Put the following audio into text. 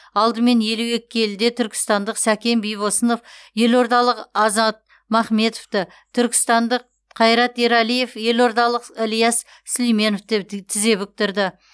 алдымен елу екі келіде түркістандық сәкен бибосынов елордалық азат махметовті түркістандық қайрат ерәлиев елордалық ілияс сүлейменовті тізе бүктірді